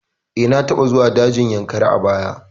Eh, na taɓa zuwa dajin Yankari a bara